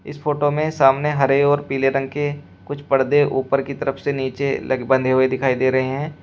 इस फोटो में सामने हरे और पीले रंग के कुछ पर्दे ऊपर की तरफ से नीचे लग बंधे हुए दिखाई दे रहे हैं।